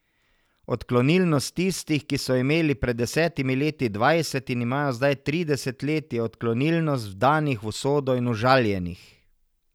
Odklonilnost tistih, ki so imeli pred desetimi leti dvajset in imajo zdaj trideset let, je odklonilnost vdanih v usodo in užaljenih.